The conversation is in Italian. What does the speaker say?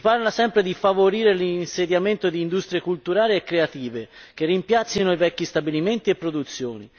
Si parla sempre di favorire l'insediamento di industrie culturali e creative, che rimpiazzino i vecchi stabilimenti e produzioni.